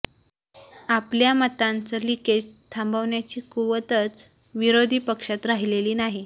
आपल्या मतांचं लिकेज थांबवण्याची कुवतच विरोधी पक्षात राहिलेली नाही